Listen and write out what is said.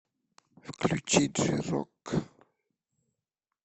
включи джей рок